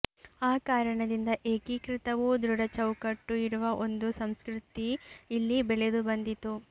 ಆ ಕಾರಣದಿಂದ ಏಕೀಕೃತವೂ ದೃಢ ಚೌಕಟ್ಟು ಇರುವ ಒಂದು ಸಂಸ್ಕೃತಿ ಇಲ್ಲಿ ಬೆಳೆದು ಬಂದಿತು